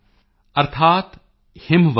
ਪੇਨਿੰਦਾ ਜਨਕਰਾਇਣੂ ਜਸੁਵਲੇਂਦਨੁ